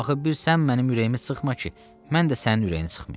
Axı bir sən mənim ürəyimi sıxma ki, mən də sənin ürəyini sıxmayım.